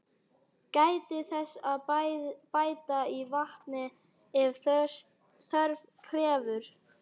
Gætið þess að bæta í vatni ef þörf krefur.